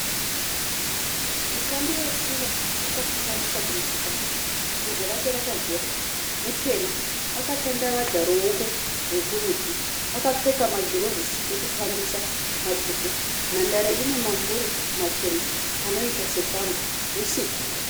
Mutambi wetsiva akafinyamisa kumeso kwake bvudzi rake rakagerwa, mutema akatandavadza ruoko rwokurudyi akapfeka magirovhisi ekutambisa matsvuku, nhandare ine mambure machena anoita setambo husiku.